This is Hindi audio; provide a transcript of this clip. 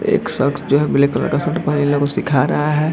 एक शक्स जो है ब्लैक कलर के शर्ट पहने को सिखा रहा है।